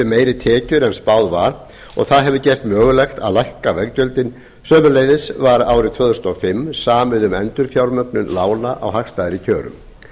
meiri tekjur en spáð var og það hefur gert mögulegt að lækka veggjöldin sömuleiðis var árið tvö þúsund og fimm samið um endurfjármögnun lána á hagstæðari kjörum